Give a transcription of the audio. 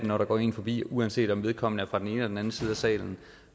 når der går en forbi uanset om vedkommende er fra den ene eller den anden side af salen